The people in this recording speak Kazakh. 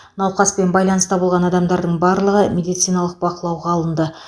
науқаспен байланыста болған адамдардың барлығы медициналық бақылауға алынды